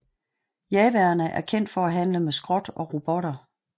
Jawaerne er kendt for at handle med skrot og robotter